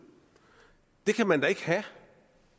det kan man da ikke have